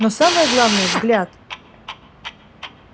но самое главное взгляд